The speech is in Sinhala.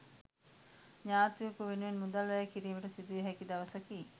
ඥාතියකු වෙනුවෙන් මුදල් වැය කිරීමට සිදුවිය හැකි දවසකි